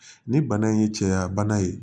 Ni bana in ye cɛya bana ye